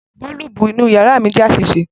Boolubu inu yara mi jẹ aṣiṣe.